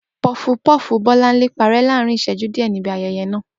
Pofupofu Bọ́láńlé parẹ́ láàárín ìṣẹ́jú díẹ̀ níbi ayẹyẹ náà.